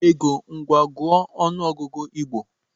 Ego, ngwa gụọ n'ọnụ ọgụgụ Igbo!